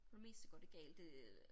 For det meste går det galt øh